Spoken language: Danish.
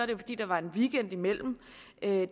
jo fordi der var en weekend imellem